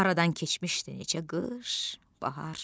Aradan keçmişdi neçə qış, bahar.